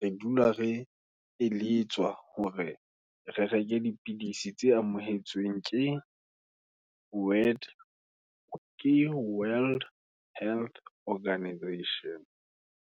re dula re eletswa, hore re reke dipidisi tse amohetsweng, ke Word, ke World Health Organization.